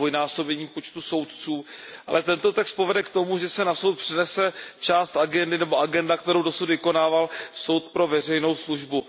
zdvojnásobením počtu soudců, ale tento text povede k tomu, že se na Soudní dvůr přenese agenda, kterou dosud vykonával Soud pro veřejnou službu.